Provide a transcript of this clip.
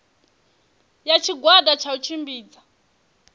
ya tshigwada tsha u tshimbidza